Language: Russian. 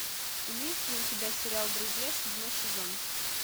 имеется ли у тебя сериал друзья седьмой сезон